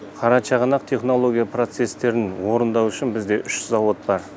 қарашығанақ технология процестерін орындау үшін бізде үш зауыт бар